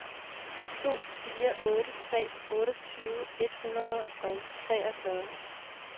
to fire otte tre otteogtyve et hundrede og treogfyrre